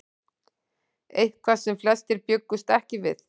Eitthvað sem flestir bjuggust ekki við